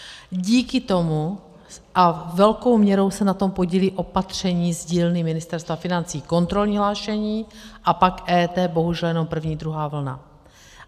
Díky tomu - a velkou měrou se na tom podílí opatření z dílny Ministerstva financí, kontrolní hlášení a pak EET, bohužel jenom první a druhá vlna.